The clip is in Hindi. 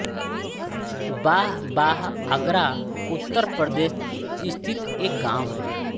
बाह बाह आगरा उत्तर प्रदेश स्थित एक गाँव है